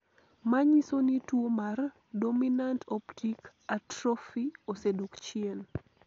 ma nyiso ni tuo mar Dominant optic atrophy osedok chien